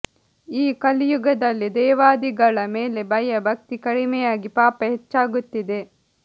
ಈ ಕಲಿಯುಗದಲ್ಲಿ ದೇವಾದಿಗಳ ಮೇಲೆ ಭಯ ಭಕ್ತಿ ಕಡಿಮೆಯಾಗಿ ಪಾಪ ಹೆಚ್ಚಾಗುತ್ತಿದೆ